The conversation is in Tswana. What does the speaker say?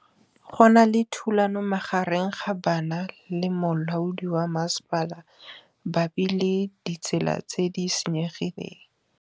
Go na le thulanô magareng ga banna le molaodi wa masepala mabapi le ditsela tse di senyegileng.